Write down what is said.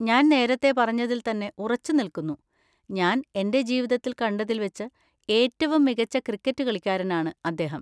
ഞാൻ നേരത്തെ പറഞ്ഞതിൽ തന്നെ ഉറച്ചുനിൽക്കുന്നു, ഞാൻ എൻ്റെ ജീവിതത്തിൽ കണ്ടതിൽ വെച്ച് ഏറ്റവും മികച്ച ക്രിക്കറ്റ് കളിക്കാരനാണ് അദ്ദേഹം.